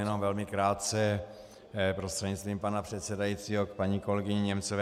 Jenom velmi krátce prostřednictvím pana předsedajícího k paní kolegyni Němcové.